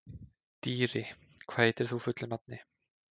Dýri, hvað heitir þú fullu nafni?